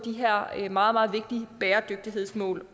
de her meget meget vigtige bæredygtighedsmål